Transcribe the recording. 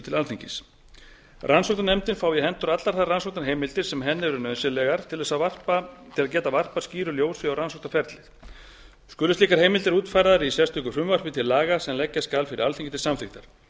til alþingis rannsóknarnefndin fái í hendur allar þær rannsóknarheimildir sem henni eru nauðsynlegar til þess að geta varpað skýru ljósi á rannsóknarefnið skulu slíkar heimildir útfærðar í sérstöku frumvarpi til laga sem leggja skal fyrir alþingi til samþykktar